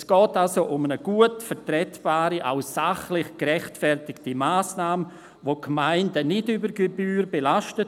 Es geht also um eine gut vertretbare und auch sachlich gerechtfertigte Massnahme, welche die Gemeinden nicht über Gebühr belastet.